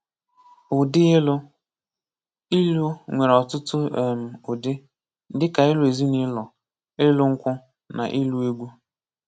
Ụdị ịlụ: ilu nwere ọtụtụ um ụdị, dịka ilu ezinụlọ, ịlụ nkwu, na ilu egwu.